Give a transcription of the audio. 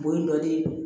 O ye dɔ de ye